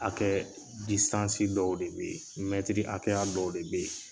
Akɛ disansi dɔw de be ye mɛtiri hakɛya dɔw de be ye